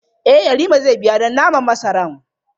Eh Yarima zai biya don naman masaran.